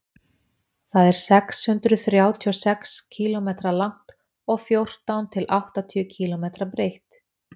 það er sex hundruð þrjátíu og sex kílómetra langt og fjórtán til áttatíu kílómetra breitt